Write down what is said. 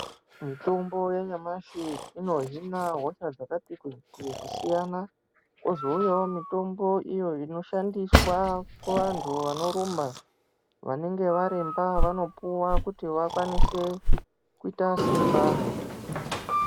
Mitombo yanyamashi inohina hosha dzakati kuti kusiyana. Kozouyawo mitombo iyo inoshandiswa kuvantu vanorumba. Vanenge varemba vanopuwa kuti vakwanise kuita simba.